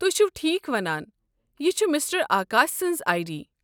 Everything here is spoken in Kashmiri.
تُہۍ چھِو ٹھیٖک ونان، یہ چھِ مسٹر آکاش سٕنز آیی ڈی۔